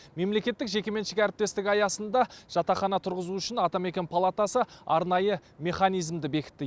мемлекеттік жекеменшік әріптестік аясында жатақхана тұрғызу үшін атамекен палатасы арнайы механизмді бекітті